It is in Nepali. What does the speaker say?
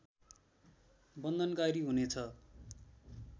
बन्धनकारी हुनेछ